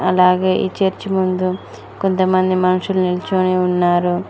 అలాగే ఈ చర్చి ముందు కొంతమంది మనుషులు నిల్చొని ఉన్నారు.